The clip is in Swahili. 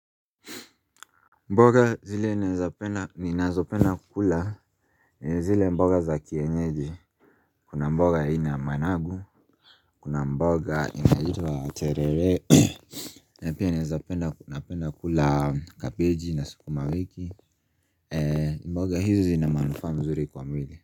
Mboga zile eneza penda ni nazo penda kukula zile mboga za kienyeji Kuna mboga aina managu Kuna mboga inaitwa terere na pia naezapenda napenda kula kapeji na sukuma wiki mboga hizi ina manufaa mzuri kwa mwili.